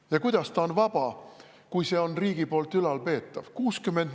Ja kuidas see vaba on, kui see on riigi poolt ülalpeetav?